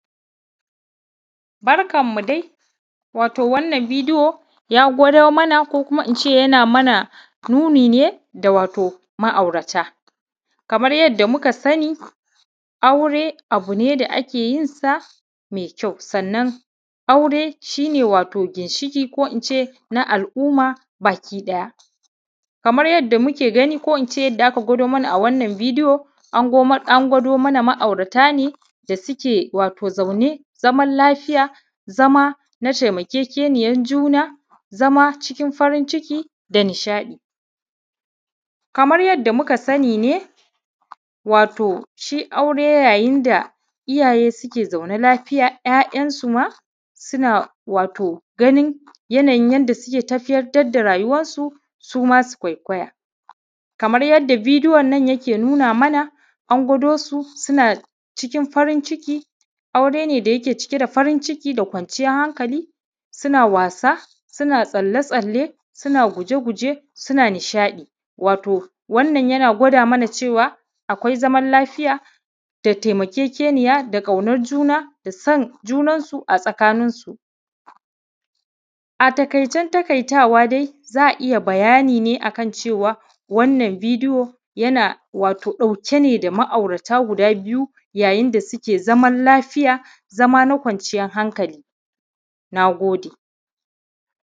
Barkanmu dai, wato wannan ya gwado mana ko kuma in ce yana mana nuni ne da wato ma’aurata kamar yadda muka sani aure abu ne da ake yinsa mai kyau sanan aure shi ne wato ginshiƙi ko in ce na al’umma baki ɗaya kamar yadda muke gani ko in ce yadda aka gwado mana a wannan bidiyo an godo an gwado mana ma’aurata ne da suke wato zaune zaman lafiya zama na taimakekeniya juna zama cikin farin ciki da nishaɗi kamar yadda muka sani ne wato shi aure yayin da iyaye suke zaune lafiya ‘ya’yansu ma suke wato ganin yanayin yadda suke tafiyar da rayuwansu suma su kwaikwaya kamar yadda bidiyo nan yake nuna mana an gwado su suna cikin farin ciki aure ne da yake cike da farin ciki da ƙwanciyan hankali suke wasa suke tsalle-tsalle suke guje-guje suke nishaɗi wato wannan yana gwada mana cewa akwai zaman lafiya da taimakekeniya da ƙaunar juna da san junansu a tsakansinsu a taƙaice taƙaitawa dai za’a ya bayani ne akan cewa wannan bidiyo yana wato ɗauke da ma’aurata guda biyu yayin da suke zaune lafiya zama na kwanciyan hankali na gode.